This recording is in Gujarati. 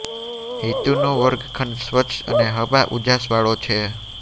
હિતુ નો વર્ગખંડ સ્વચ્છ અને હવા ઉજાસ વાળો છે